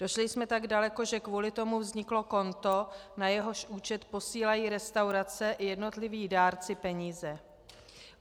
Došli jsme tak daleko, že kvůli tomu vzniklo konto, na jehož účet posílají restaurace i jednotliví dárci peníze.